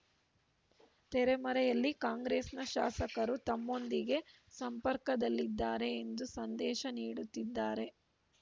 ತೆರೆಮರೆಯಲ್ಲಿ ಕಾಂಗ್ರೆಸ್‌ನ ಶಾಸಕರು ತಮ್ಮೊಂದಿಗೆ ಸಂಪರ್ಕದಲ್ಲಿದ್ದಾರೆ ಎಂದು ಸಂದೇಶ ನೀಡುತ್ತಿದ್ದಾರೆ